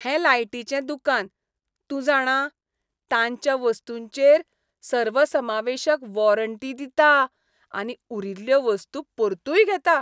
हें लायटीचें दुकान, तूं जाणा, तांच्या वस्तूंचेर सर्वसमावेशक वॉरंटी दिता, आनी उरिल्ल्यो वस्तू परतूय घेता.